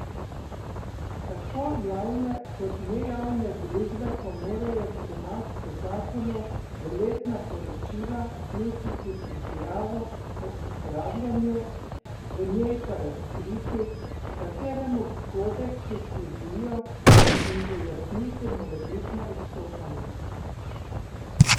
Tako javne kot nejavne družbe pa morajo pri nas po zakonu v letna poročila vključiti izjavo o upravljanju, v njej pa razkriti, kateremu kodeksu sledijo, in pojasniti morebitna odstopanja.